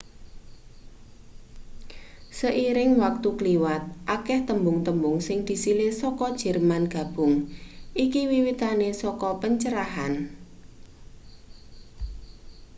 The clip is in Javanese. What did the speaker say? seiring wektu kliwat akeh tembung-tembung sing disilih saka jerman gabung iki wiwitane saka pencerahan